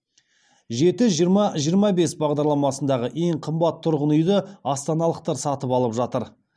жеті жиырма жиырма бес бағдарламасындағы ең қымбат тұрғын үйді астаналықтар сатып алып жатыр